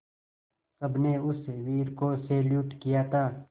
सबने उस वीर को सैल्यूट किया था